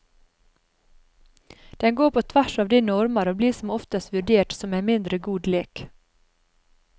Den går på tvers av de normer og blir som oftest vurdere som en mindre god lek.